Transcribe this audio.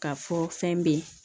Ka fɔ fɛn be ye